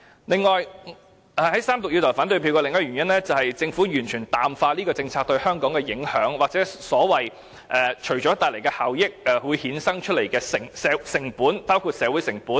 此外，我要在三讀投下反對票的另一個原因，是政府完全淡化了有關政策對香港的影響，即由其帶來的效益所衍生的成本，包括社會成本。